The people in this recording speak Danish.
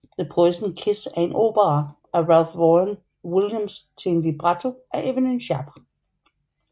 The Poisoned Kiss er en opera af Ralph Vaughan Williams til en libretto af Evelyn Sharp